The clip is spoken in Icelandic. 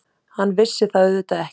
Hann vissi það auðvitað ekki.